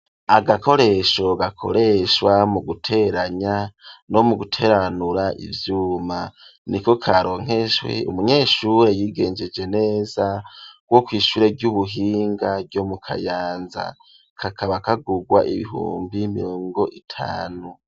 Agakoresho gakoreshwa mu guteranya no mu guteranura ivyuma, niko karonkejwe umunyeshure yigengeje neza wo kwishure ry'ubuhinga ryo mu Kayanza kakaba kagugwa ibihumbi mirongo itanu.